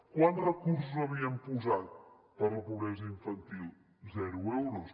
quants recursos havíem posat per a la pobresa infantil zero euros